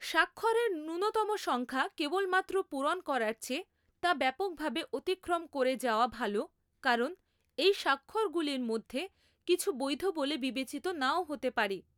স্বাক্ষরের ন্যূনতম সংখ্যা কেবলমাত্র পূরণ করার চেয়ে তা ব্যাপকভাবে অতিক্রম করে যাওয়া ভাল কারণ এই স্বাক্ষরগুলির মধ্যে কিছু বৈধ বলে বিবেচিত নাও হতে পারে৷